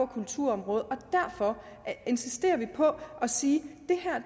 kulturområdet og derfor insisterer vi på at sige